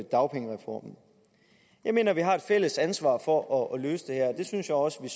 dagpengereformen jeg mener at vi har et fælles ansvar for at løse det her og jeg synes også vi